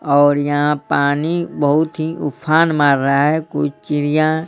और यहां पानी बहुत ही उफान मार रहा है कुछ चिड़ियां --